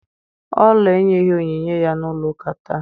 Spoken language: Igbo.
Ola enyeghi onyinye ya na ulo uka taa.